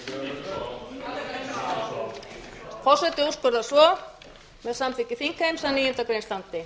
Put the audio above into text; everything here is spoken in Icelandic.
að leggja frumvarpið fram aftur forseti úrskurðar svo með samþykki þingheims að níundu grein standi